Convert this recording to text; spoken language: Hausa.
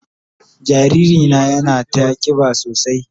Jariri na yana ta kiba sosai.